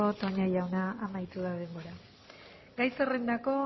toña jauna amaitu da denbora gai zerrendako